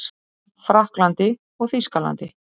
Frakklandi og Þýskalandi.